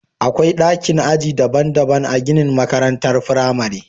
Akwai dakin aji daban-daban a ginin makarantar firamare